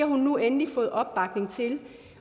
hun nu endelig har fået opbakning til